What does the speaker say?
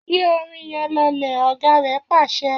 Yí orin yẹn lọlẹ̀!, ọ̀gá rẹ̀ pàṣẹ